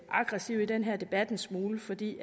aggressive i den her debat en smule fordi